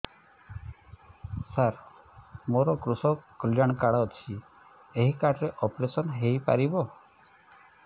ସାର ମୋର କୃଷକ କଲ୍ୟାଣ କାର୍ଡ ଅଛି ଏହି କାର୍ଡ ରେ ଅପେରସନ ହେଇପାରିବ